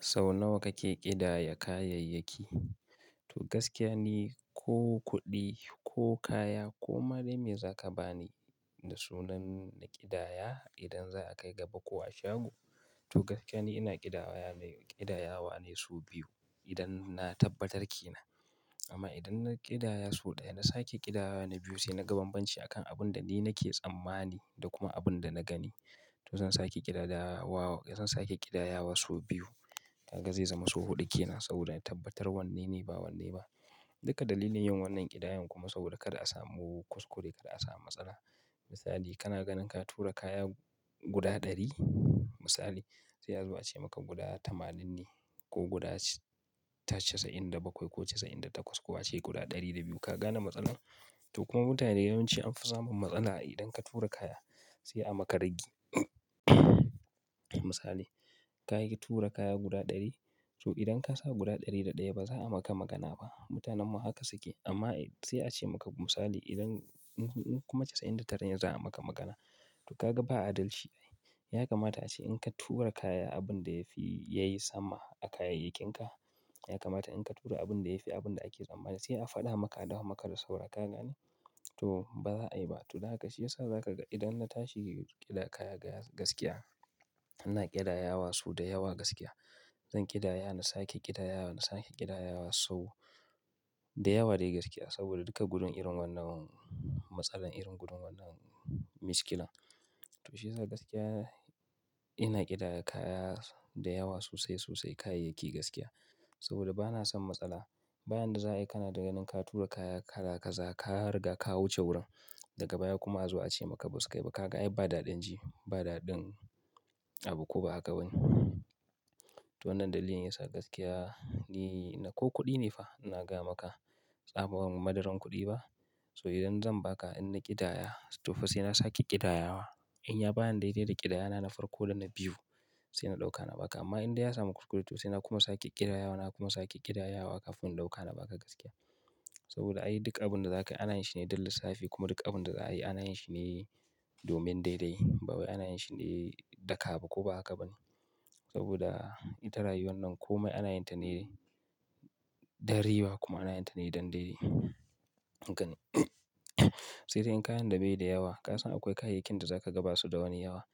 Sau nawa kake ƙidaya kayayyaki? To gaskiya ni, ko kuɗi ko kaya ko ma dai me za ka ba ni da sunan kidaya idan za a kai gaba ko a shago. To gaskiya ni ina ƙidayawa ne kidayawa ne sau biyu idan na tabbatar ke nan. Amma idan na ƙidaya so ɗaya, na sake ƙidayawa na biyu sai na ga banbanci akan abin da ni nake tsammani da kuma abin da na gani. To zan sake ƙidayawa, zan sake ƙidayawa sau biyu. Kaga zai zama sau huɗu ke nan saboda na tabbatar wanne ne ba wanne ba. Duka dalilin yin wannan ƙidayan kuma saboda kada a samu kuskure, kada a samu matsala. Misali, kana ganin ka tura kaya guda ɗari misali, sai a zo ace maka guda tamanin ne ko guda casa'in da bakwai ko casa'in da takwas ko a ce guda ɗari da biyu. Ka gane matsalar? To kuma mutane yawanci an fi samun matsala idan ka tura kaya sai a maka raggi. Misali, ka yi tura kaya guda ɗari. To idan ka sa guda ɗari da ɗaya ba za a maka magana ba. Mutanenmu haka suke amma sai a ce maka misali idan kun kuma casa'in da tara ne za a maka magana. To ka ga ba adalci. Ya kamata a ce in ka tura kaya abin da ya fi yayi sama a kayayyakinka. Ya kamata in ka tura abin da ya fi abin da ake tsammani sai a faɗa maka, a dawo maka da sauran. Ka gane? To ba za a yi ba. To dan haka shi ya sa za ka ga idan na tashi ƙida kaya gaskiya, ina ƙidayawa su da yawa gaskiya. Zan ƙidaya, na sake ƙidayawa, na sake ƙidayawa sau da yawa dai gaskiya saboda duka gudun irin wannan matsala, irin gudun wannan miskilan. To shi ya sa gaskiya ina ƙidaya kaya da yawa sosai sosai kayayyaki gaskiya saboda ba na son matsala. Bayan da za ai kana da ganin ka tura kaya ka da kaza, ka riga ka wuce wurin daga baya kuma a zo a ce maka basu kai ba. Ka ga ai ba daɗin ji, ba daɗin abu ko ba haka ba ne. To wannan dalilin yasa gaskiya ni na ko kuɗi ne fa ina gaya maka, tsaban madaran kuɗi ba. So idan zan ba ka in na ƙidaya to fa sai na sake ƙidayawa. In ya bani daidai da ƙidaya na, na farko da na biyu sai na ɗauka na ba ka. Amma in dai ya samu kuskure to sai na kuma sake ƙidayawa, na kuma sake ƙidayawa kafin in ɗauka na ba ka gaskiya. Saboda ai duk abin da za ka yi ana yin shi ne don lissafi kuma duk abin da za a yi ana yin shi ne domin daidai. Ba wai ana yin shi ne daga abu ko ba haka ba ne. Saboda ita rayuwar nan kome ana yin ta ne dan riba kuma ana yin ta ne don daidai. Gani. Sai dai in kayan da bai da yawa. Ka san akwai kayayyakin da za ka gaba su da wani yawa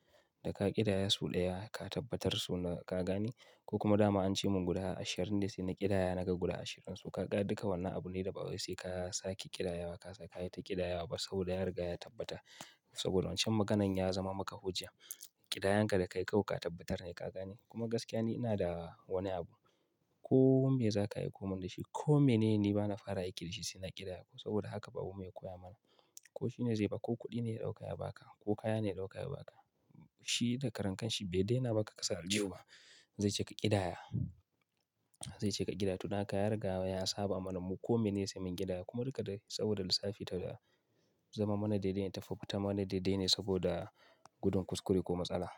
da ka ƙidaya sau ɗaya ka tabbatar su na ka gane ko kuma dama an ce mun guda ashirin ne sai na ƙidaya naga guda ashirin su. Ka ga duka wannan abune da ba wai sai ka sake ƙidayawa. Ka sake ta ƙidayawa ba saboda ya riga ya tabbata. Saboda wancan maganan ya zama maka hujja. Ƙidayanka da ka yi kawai ka tabbatar ne ka gane. Kuma gaskiya ne ina da wani abu. Ko me za ka aiko mun da shi ko mene ne bana fara aiki da shi sai na ƙidaya. Saboda haka babanmu ya koya mana. Ko shine zai ba ko kuɗi ne ya ɗauka ya ba ka ko kaya ne ya ɗauka ya ba ka. Shi da karankan shi bai yadda yana ba ka kasa aljihu ba. Zai ce ka ƙidaya. Zai ce ka ƙidaya to dan haka ya riga ya saba mana mu ko mene sai mun ƙidaya kuma dukada saboda lissafi ta za zama mana daidai. Ta fuffuta mana daidai ne saboda gudun kuskure ko matsala.